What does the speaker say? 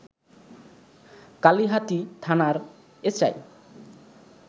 কালিহাতী থানার এসআই